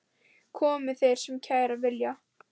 Komi þeir sem kæra vilja.